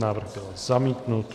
Návrh byl zamítnut.